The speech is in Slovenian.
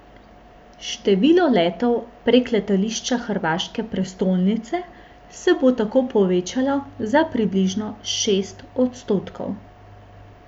Število letov prek letališča hrvaške prestolnice se bo tako povečalo za približno šest odstotkov.